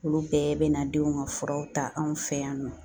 Olu bɛɛ bɛ na denw ka furaw ta anw fɛ yan nɔ